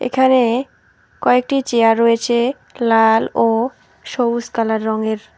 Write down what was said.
এখানে কয়েকটি চেয়ার রয়েছে লাল ও সবুজ কালার রঙের।